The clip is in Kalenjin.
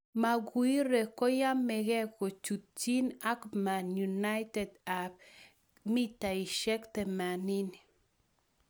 Maguire koyamekee kochutchin ak Man Utd ab �80m